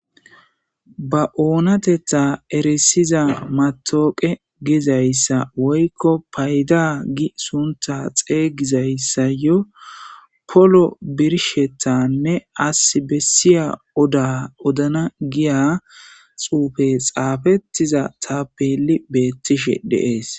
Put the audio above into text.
ba oonatetta eresiza matooqe gizayssa woykko payda gi sunta xeygizayssa yo polo birshetanne as bessiya oda odana giya xuufe xaafettiza ta peli beettishe de'es